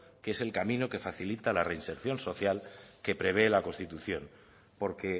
que es el camino que facilita la reinserción social que prevé la constitución porque